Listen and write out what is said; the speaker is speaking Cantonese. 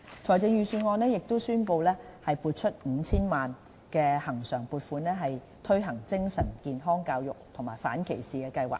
財政預算案宣布撥出 5,000 萬元恆常撥款，推行精神健康教育及反歧視計劃。